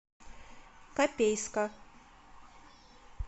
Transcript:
копейска